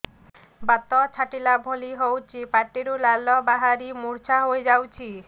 ବାତ ଛାଟିଲା ଭଳି ହଉଚି ପାଟିରୁ ଲାଳ ବାହାରି ମୁର୍ଚ୍ଛା ହେଇଯାଉଛି